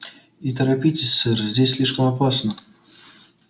и торопитесь сэр здесь слишком опасно